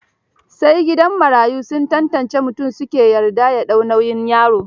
Sai gidan marayu sun tantance mutum su ke yarda ya ɗau nauyin yaro.